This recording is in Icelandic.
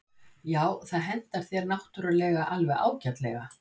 Já, það hentar þér náttúrulega alveg ágætlega.